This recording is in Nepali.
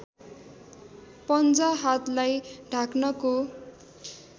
पन्जा हातलाई ढाक्नको